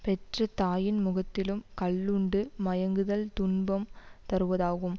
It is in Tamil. பெற்றதாயின் முகத்திலும் கள்ளுண்டு மயங்குதல் துன்பம் தருவதாகும்